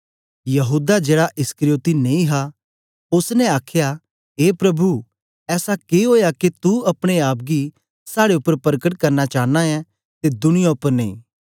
यहूदा जेड़ा इस्करियोती नेई हा उसी आखया ए प्रभु ऐसा के ओया के तू अपने आप गी साड़े उपर परकट करना चांना ऐं ते दुनिया उपर नेई